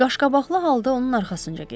Qaşqabaqlı halda onun arxasınca getdim.